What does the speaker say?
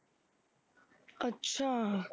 ਅੱਛਾ